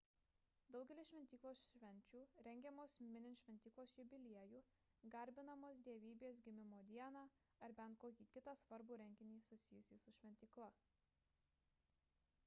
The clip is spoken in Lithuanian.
daugelis šventyklos švenčių rengiamos minint šventyklos jubiliejų garbinamos dievybės gimimo dieną ar bet kokį kitą svarbų renginį susijusį su šventykla